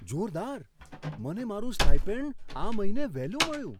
જોરદાર! મને મારું સ્ટાઇપેન્ડ આ મહિને વહેલું મળ્યું!